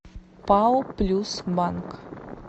пао плюс банк